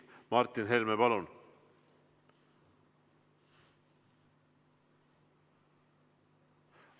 Martin Helme, palun!